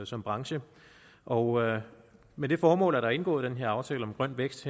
som branche og med det formål er der indgået den her aftale om grøn vækst